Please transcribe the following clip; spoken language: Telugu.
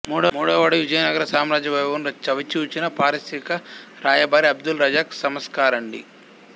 మూడవవాడు విజయనగర సామ్రాజ్యవైభవమును చవిజూచిన పారశీక రాయబారి అబ్దుల్ రజాక్ సమర్కాండి